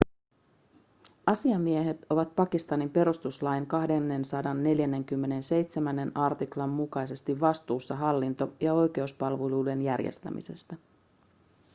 asiamiehet ovat pakistanin perustuslain 247 artiklan mukaisesti vastuussa hallinto- ja oikeuspalvelujen järjestämisestä